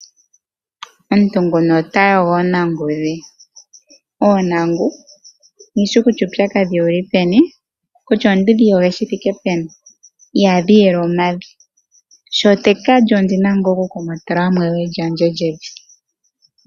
Omuntu nguka ota yogo oontangu dhe. Oontangu kandi shi kutya uupyakadhi owu li peni, kutya ondi dhi yoge shi thike peni ihadhi yela omavi. Sho tandi ka lya ondi na okukokota mo ewe lyandje lyevi.